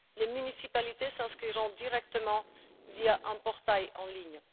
Les municipalités s'inscriront directement via un portail en ligne.